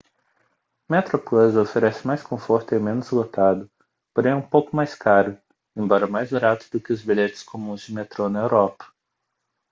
metroplus oferece mais conforto e é menos lotado porém é um pouco mais caro embora mais barato do que os bilhetes comuns de metrô na europa